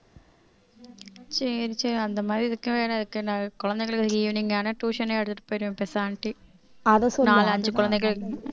சரி சரி அந்த மாதிரி இருக்கவே எனக்கு குழந்தைகளுக்கு evening ஆனா tuition ஏ எடுத்திட்டு போயிடுவேன் நாலு அஞ்சு குழந்தைகள்